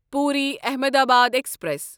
Puri Ahmedabad express